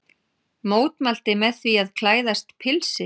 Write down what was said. Mótmælti með því að klæðast pilsi